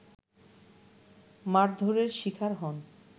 মারধরের শিকার হন